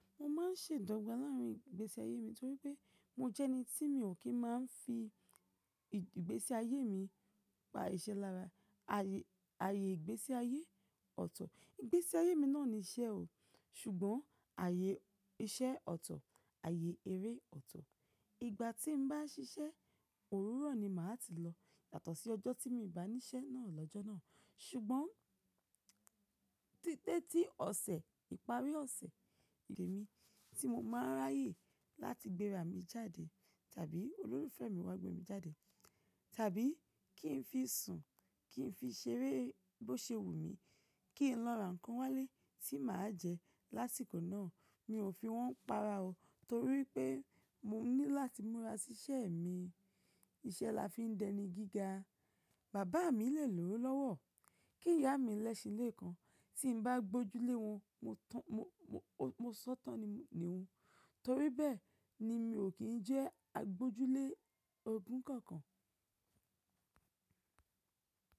Mo máa ń ṣèdọ̀gbà láàárín ìgbésí ayé mi torí pé mo jẹ́ ẹni tí mi ò kí ń máa ń fi ìgbésí ayé mi pa iṣẹ́ lára. Ayé, ayé ìgbésí ayé ọ̀tọ̀. Ìgbésí ayé mi náà ní iṣẹ́ o, ṣùgbọ́n ààyè iṣẹ́ ọ̀tọ̀, ààyè eré ọ̀tọ̀. Ìgbà tí mbá ń ṣiṣẹ́, òwuró ni màá ti lọ. Yàtọ̀ sí ọjọ́ tí mo bá níṣẹ́ náà lọ́jọ́ náà. Ṣùgbọ́n títẹ́ tí ọ̀sẹ̀, ìparí ọ̀sẹ̀, lè mi tí mo máa n ráyè láti gbéra mi jáde tàbí olólùfẹ́ mi wá gbé mi jáde tàbí kí n fi sùn, kí n fi ṣeré bó ṣe wù mí, kí n lọ ra ǹkan wálé tí màá jẹ lásìkò náà, mi ò fi wọ́n pa'ra o torí pé mo ní láti múra sí iṣẹ́ mi. Iṣẹ́ la fi ń dẹni gíga. Bàbá mi lè lówó lọ́wọ́, kí ìyá mi lẹ́ṣin lékan, tí n bá gbójú lé wọn, mo, mo, mo, mo sọ́tàn ni, ni un torí bẹ́ẹ̀ ni mi ò kí ń jẹ́ agbojúlé ogún kankan.